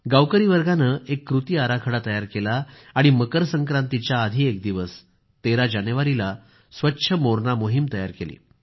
गावकरीवर्गाने एक कृती आराखडा तयार केला आणि मकर संक्रांतीच्या आधी एक दिवस 13 जानेवारी रोजी स्वच्छ मोरणा मोहीम तयार केली